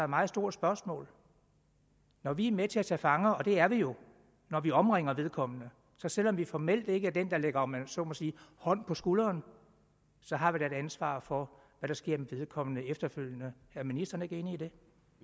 meget stort spørgsmål når vi er med til at tage fanger og det er vi jo når vi omringer vedkommende og selv om vi formelt ikke er den der lægger om jeg så må sige hånd på skulderen har vi da et ansvar for hvad der sker med vedkommende efterfølgende er ministeren ikke enig i det